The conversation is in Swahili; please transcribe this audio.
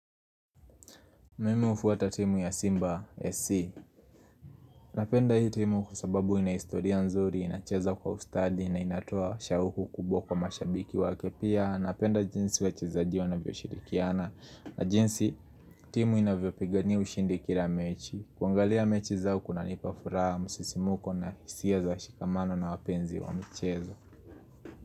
Mim hufuata timu ya Simba SC Napenda hii timu kwa sababu ina historia nzuri inacheza kwa ustadi na inatoa shauku kubwa kwa mashabiki wake pia Napenda jinsi wachezaji wanavyoshirikiana na jinsi timu inavyopigania ushindi kila mechi kuangalia mechi zao kunanipa furaha msisimko na hisia za shikamano na wapenzi wa mchezo.